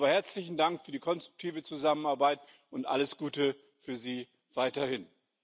Aber herzlichen Dank für die konstruktive Zusammenarbeit und alles Gute für Sie weiterhin.